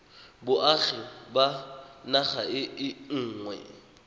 boagi ba naga e nngwe